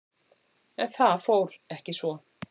En það fór ekki svo.